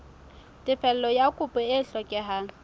tefello ya kopo e hlokehang